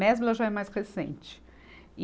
Mesbla já é mais recente. e